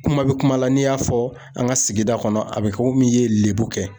Kuma bi kuma la n'i y'a fɔ an ka sigida kɔnɔ a bi kɛ komi i ye lebu kɛ